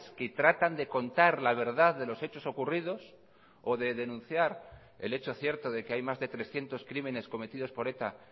que tratan de contar la verdad de los hechos ocurridos o de denunciar el hecho cierto de que hay más de trescientos crímenes cometidos por eta